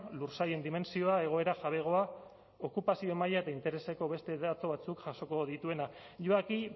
lursailen dimentsioa egoera jabegoa okupazio maila eta intereseko beste datu batzuk jasoko dituena yo aquí